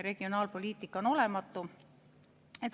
Regionaalpoliitika on olematu.